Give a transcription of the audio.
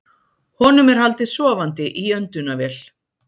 Honum er haldið sofandi í öndunarvél